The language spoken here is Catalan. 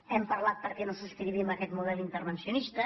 hem parlat de perquè no subscrivim aquest model intervenci·onista